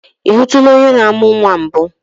I hụtụla onye na-amụ nnwa mbụ?